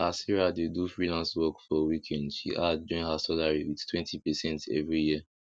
as sarah dey do freelance work for weekend she add join her salary withtwentypercent every year